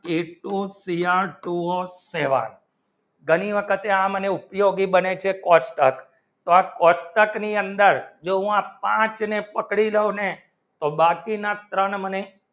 H ઓ તે કેવી કહેવાય ઘણી આ તે મને ઉપયોગી બને છે ત્યાં કોટ્ર્ક ની અંદર જેમાં પાંચ ને પકડી નયો ને તો બાકી ના ત્રણ મને